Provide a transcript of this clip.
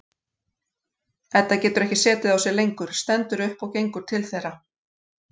Edda getur ekki setið á sér lengur, stendur upp og gengur til þeirra.